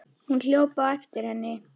Hún hljóp á eftir henni.